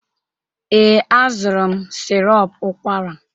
Ee, azụrụ m sirop ụkwara.